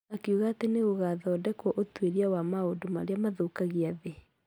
Akiuga atĩ nĩ gũgathondekwo ũtuĩria wa maũndũ marĩa mathũkagia thĩ.